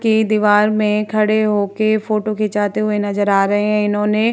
के दीवार में खड़े होके फोटो खिचाते हुए नजर आ रहे हैं इन्होने --